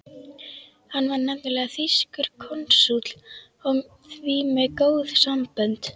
Hann var nefnilega þýskur konsúll og því með góð sambönd.